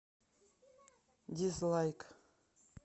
дизлайк